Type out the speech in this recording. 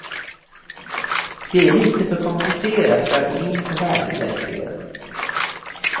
Det är lite för komplicerat för att gå in på här egentligen.